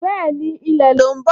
Bẹ́ẹ̀ni, ilẹ̀ ló ń bọ̀